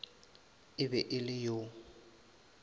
e be e le yo